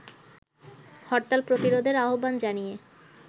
হরতাল প্রতিরোধের আহ্বান জানিয়ে